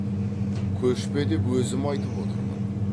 көшпе деп өзім айтып отырмын